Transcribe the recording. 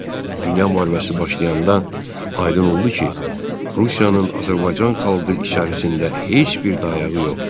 Dünya müharibəsi başlayanda aydın oldu ki, Rusiyanın Azərbaycan xalqı içərisində heç bir dayağı yoxdur.